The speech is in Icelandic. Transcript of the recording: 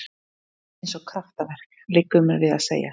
Eins og kraftaverk, liggur mér við að segja.